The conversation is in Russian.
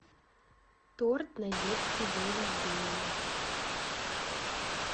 торт на детский день рождения